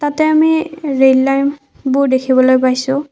ইয়াতে আমি ৰেল লাইনবোৰ দেখিবলৈ পাইছোঁ।